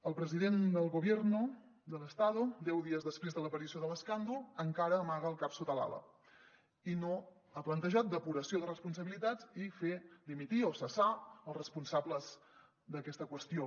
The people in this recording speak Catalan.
el president del gobierno del estado deu dies després de l’aparició de l’escàndol encara amaga el cap sota l’ala i no ha plantejat depuració de responsabilitats i fer dimitir o cessar els responsables d’aquesta qüestió